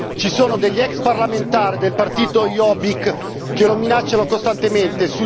Ci sono degli ex parlamentari del partito Jobbik che lo minacciano costantemente